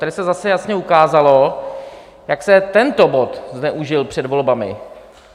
Tady se zase jasně ukázalo, jak se tento bod zneužil před volbami.